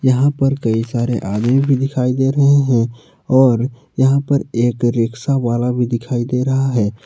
यहां पर कई सारे आदमी भी दिखाई दे रहे हैं और यहां पर एक रिक्शा वाला भी दिखाई दे रहा है।